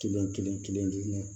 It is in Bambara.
Kelen kelen kelen kelen